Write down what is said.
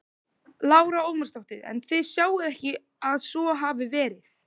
Lára Ómarsdóttir: En þið sjáið ekki að svo hafi verið?